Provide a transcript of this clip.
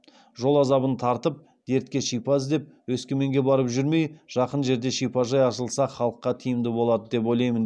жол азабын тартып дертке шипа іздеп өскеменге барып жүрмей жақын жерде шипажай ашылса халыққа тиімді болады деп ойлаймын